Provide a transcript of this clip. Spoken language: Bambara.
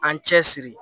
An cɛ siri